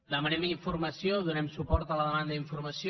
demanem informació donem suport a la demanda d’informació